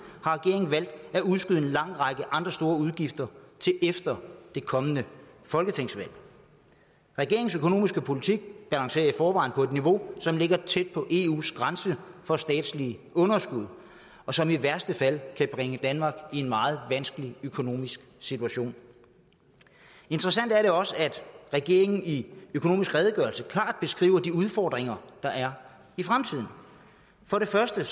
har regeringen valgt at udskyde en lang række andre store udgifter til efter det kommende folketingsvalg regeringens økonomiske politik rangerer i forvejen på et niveau som ligger tæt på eus grænse for statslige underskud og som i værste fald kan bringe danmark i en meget vanskelig økonomisk situation interessant er det også at regeringen i økonomisk redegørelse klart beskriver de udfordringer der er i fremtiden for det første